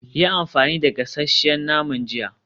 Yi amfani da gasasshen naman jiya.